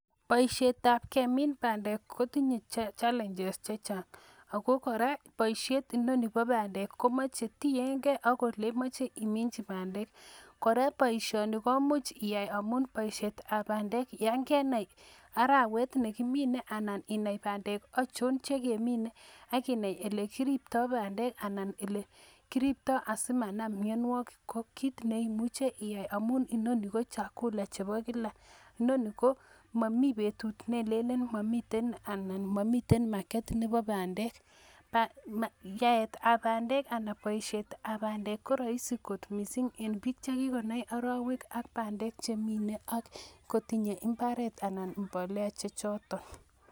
Boishietab kemin bandek kotindoi challenges chechang ako kora boishiet inoni bo bandek komoche oletiengei ak oleimoche iminyii bandek. Kora boishonii komuch iyaai temisietab bandek yon kenai arawet nekimine anan inai bandek achon chekemine. Ak inai elemindoi bandek, anan elekiriptoo asimanam mionwogiik. Kimuche amun inguni ko chakula chebo kila. Inoni komomi betut nelelen momi anan kobek indonyoo Nebo bandek. Yaetab bandek anan boishietab bandek KO roisi kot, missing en bik chekikonai arawekab bandek ak bandek chemine. Ak koteme imbaaret anan imbolea chechotok.